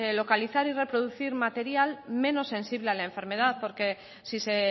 localizar y reproducir material menos sensible a la enfermedad porque si se